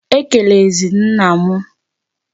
Ekelezi na m!